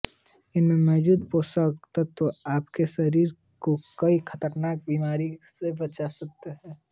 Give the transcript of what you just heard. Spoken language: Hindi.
इसमें मौजूद पौषक तत्व आपके शरीर को कई खतरनाक बीमारियों से बचा कर रखते है